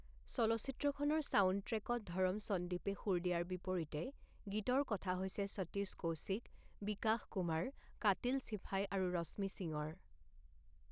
চলচ্চিত্ৰখনৰ ছাউণ্ডট্ৰেকত ধৰম সন্দীপে সুৰ দিয়াৰ বিপৰীতে গীতৰ কথা হৈছে সতীশ কৌশিক, বিকাশ কুমাৰ, কাতিল শ্বিফাই আৰু ৰশ্মি সিঙৰ।